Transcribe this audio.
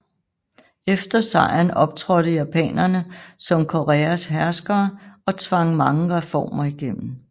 Efter sejren optrådte japanerne som Koreas herskere og tvang mange reformer igennem